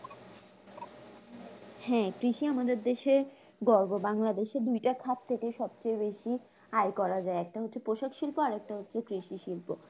হ্যাঁ কৃষি আমাদের দেশে গর্ব বাংলাদেশে দুইটা খাত থেকে সবথেকে বেশি আয় করা যায়, একটা হচ্ছে পোশাকশিল্প আর একটা হচ্ছে কৃষিশিল্প